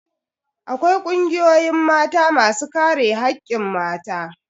Akwai kungiyoyin Mata masu kare hakkin mata.